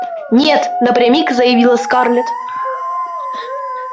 нет напрямик заявила скарлетт